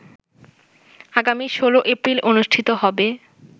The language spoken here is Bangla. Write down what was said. আগামী ১৬ এপ্রিল অনুষ্ঠিত হবে